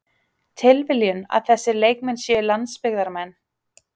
Tilviljun að þessir leikmenn séu landsbyggðarmenn?